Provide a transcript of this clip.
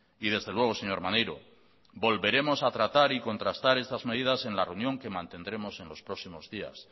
y desde luego señor maneiro volveremos a tratar y contrastar estas medidas en la reunión que mantendremos en los próximos días